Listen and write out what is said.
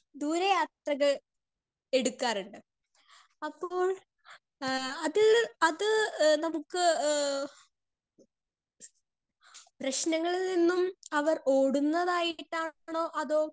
speaker 2 ദൂരെ യാത്രകൾ എടുക്കാറിണ്ട് അപ്പോൾ എഹ് അത് അത് എഹ് നമ്മുക്ക് ഏഹ് പ്രേശ്നങ്ങളിൽ നിന്നും അവർ ഓടുന്നതായിട്ടാണോ അതോ